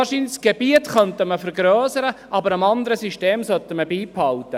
Das Gebiet könnte man wahrscheinlich vergrössern, aber das andere System sollte man beibehalten.